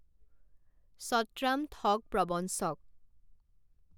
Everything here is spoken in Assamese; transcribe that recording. সৎৰাম ঠগ প্ৰৱঞ্চক।